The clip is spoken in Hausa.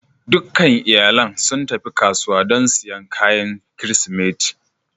Dukan iyalin sun tafi kasuwa don siyan kayan Kirsimeti